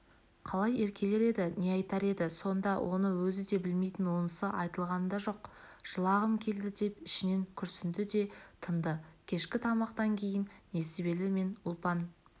қалай еркелер еді не айтар еді сонда оны өзі де білмейтін онысы айтылған да жоқ жылағым келді деп ішінен күрсінді де тынды кешкі тамақтан кейін несібелі мен ұлпан